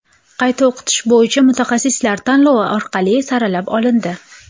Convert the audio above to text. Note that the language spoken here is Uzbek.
Qayta o‘qitish bo‘yicha mutaxassislar tanlov orqali saralab olindi.